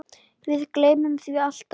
Við gleymum því alltaf